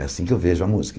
É assim que eu vejo a música.